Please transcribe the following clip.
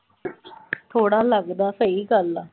ਥੋੜਾ ਲਗਦਾ, ਸਹੀ ਗੱਲ ਆ।